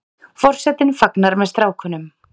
Forsetinn fagnar með strákunum